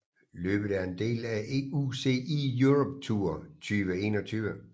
Løbet er en del af UCI Europe Tour 2021